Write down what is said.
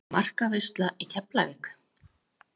Markaveisla í Keflavík?